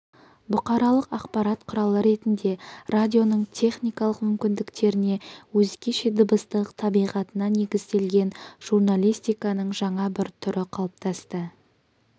бұқаралық ақпарат құралы ретінде радионың техникалық мүмкіндіктеріне өзгеше дыбыстық табиғатына негізделген журналистиканың жаңа бір түрі қалыптасты